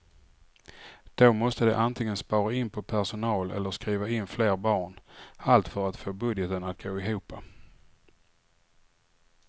Då måste de antingen spara in på personal eller skriva in fler barn, allt för att få budgeten att gå ihop.